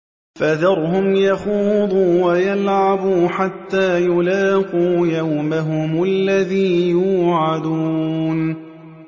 فَذَرْهُمْ يَخُوضُوا وَيَلْعَبُوا حَتَّىٰ يُلَاقُوا يَوْمَهُمُ الَّذِي يُوعَدُونَ